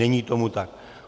Není tomu tak.